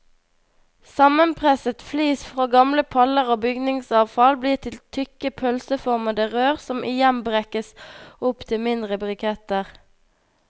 Sammenpresset flis fra gamle paller og bygningsavfall blir til tykke pølseformede rør som igjen brekkes op til mindre briketter.